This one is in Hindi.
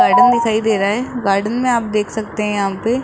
गार्डन दिखाई दे रहा है गार्डन में आप देख सकते हैं यहां पे--